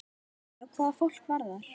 Já, hvað fólk varðar.